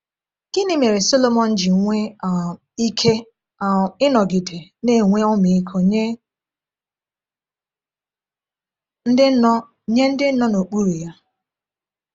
Gịnị mere Sọlọmọn ji nwee um ike um ịnọgide na-enwe ọmịiko nye ndị nọ nye ndị nọ n’okpuru ya?